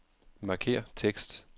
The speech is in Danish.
Markér tekst.